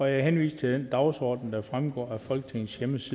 jeg henviser til den dagsorden der fremgår af folketingets